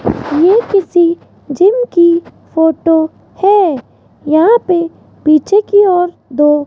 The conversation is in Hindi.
ये किसी जिम की फोटो है यहां पे पीछे की ओर दो --